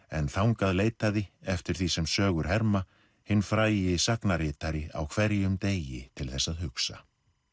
en þangað leitaði eftir því sem sögur herma hinn frægi sagnaritari á hverjum degi til þess að hugsa